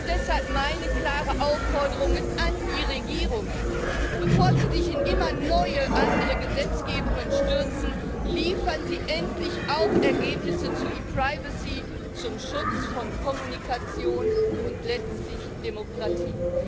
Deshalb meine klare Aufforderung an die Regierungen Bevor Sie sich in immer neue andere Gesetzgebungen stürzen, liefern Sie endlich auch Ergebnisse zu ePrivacy zum Schutz von Kommunikation und letztlich Demokratie!